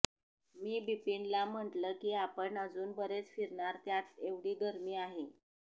मी बिपीनला म्हटलं की आपण अजून बरेच फिरणार त्यात एवढी गरमी आहे